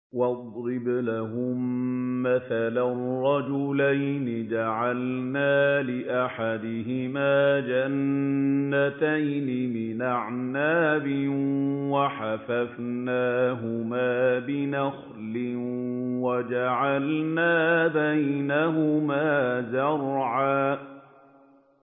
۞ وَاضْرِبْ لَهُم مَّثَلًا رَّجُلَيْنِ جَعَلْنَا لِأَحَدِهِمَا جَنَّتَيْنِ مِنْ أَعْنَابٍ وَحَفَفْنَاهُمَا بِنَخْلٍ وَجَعَلْنَا بَيْنَهُمَا زَرْعًا